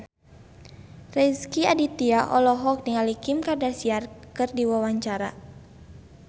Rezky Aditya olohok ningali Kim Kardashian keur diwawancara